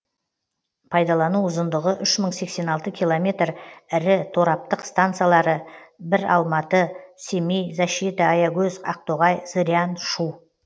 пайдалану ұзындығы үш мың секскен алты километр ірі тораптық стансалары бір алматы семей защита аягөз ақтоғай зырян шу